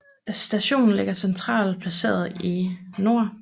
Stationen ligger centralt placeret i Nr